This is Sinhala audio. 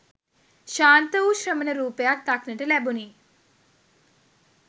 ශාන්ත වූ ශ්‍රමණ රූපයක් දක්නට ලැබුණි.